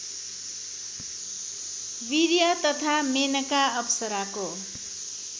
वीर्य तथा मेनका अप्सराको